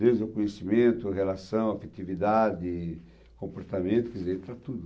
Desde o conhecimento, a relação, a criatividade, comportamento, quer dizer, entra tudo.